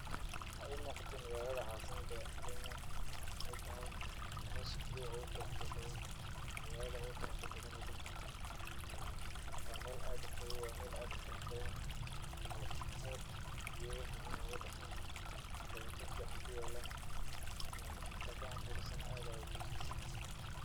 Waxaa ii muuqato magaalada caasamada Kenya oo ay tahay meesha keli eh ugu quruxda badan, magaalada ugu quruxda badan wadanka. Waa meel aad u qabow, waa meel aad u qurux badan oo aad geedo macaan ugu baxaan, dhabaqo ficaan ku yaalan. Marka aad saan u fiirisadna aad ayaa ugu farxaysaa.